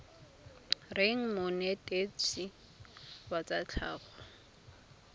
reng monetetshi wa tsa tlhago